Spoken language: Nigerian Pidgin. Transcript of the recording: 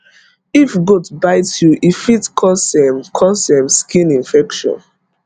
if goat bite you e fit cause um cause um skin infection